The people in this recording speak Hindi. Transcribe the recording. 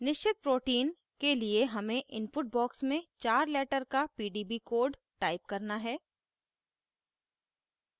निश्चित protein के लिए हमें input box में चार letter का pdb code type करना है